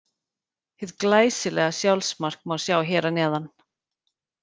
Hið glæsilega sjálfsmark má sjá hér að neðan.